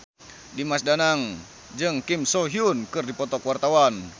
Dimas Danang jeung Kim So Hyun keur dipoto ku wartawan